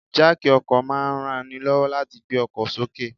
Jáákì ọkọ̀ máa ń ranni lọ́wọ́ láti gbé ọkọ̀ sókè.